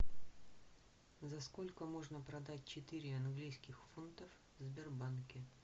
за сколько можно продать четыре английских фунта в сбербанке